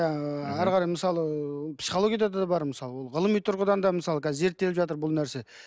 әрі қарай мысалы психологияда да бар ол мысалы ол ғылыми тұрғыдан да мысалы қазір зерттеліп жатыр бұл нәрсе